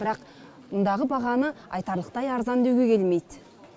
бірақ мұндағы бағаны айтарлықтай арзан деуге келмейді